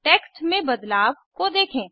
text में बदलाव को देखें